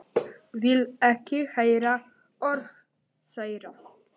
Vil ekki heyra orð þeirra.